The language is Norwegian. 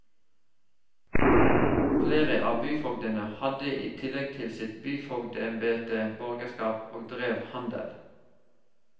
Flere av byfogdene hadde i tillegg til sitt byfogdembete borgerskap og drev handel.